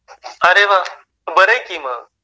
अरे वा, बरं आहे कि मग.